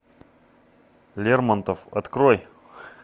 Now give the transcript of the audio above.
лермонтов открой